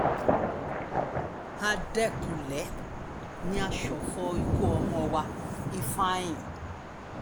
àdẹkùnlé ni a ṣọ̀fọ̀ ikú ọmọ wa ifeanyi